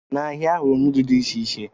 N'ahịa, ahụrụ m nudu dị iche iche.